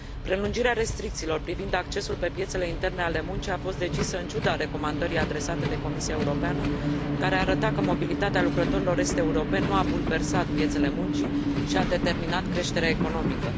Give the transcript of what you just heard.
Prelungirea restricțiilor privind accesul pe piețele interne ale muncii a fost decisă în ciuda recomandării adresate de Comisia Europeană, care arăta că mobilitatea lucrătorilor est europeni nu a bulversat piețele muncii și a determinat creșterea economică.